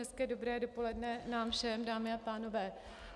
Hezké dobré dopoledne nám všem, dámy a pánové.